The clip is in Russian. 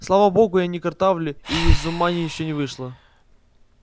слава богу я не картавлю и из ума ещё не вышла